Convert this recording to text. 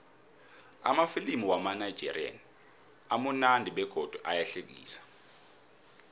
amafilimu wamanigerian amunandi begodu ayahlekisa